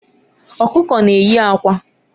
Ọkụkọ na-eyi akwa.